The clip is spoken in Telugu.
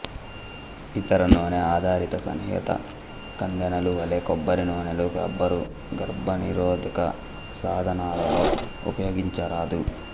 ఇతర నూనె ఆధారిత సన్నిహత కందెనలు వలె కొబ్బరి నూనెను రబ్బరు గర్భనిరోధక సాధనాలలో ఉపయోగించరాదు